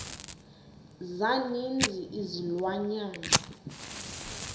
za ninzi izilwanyana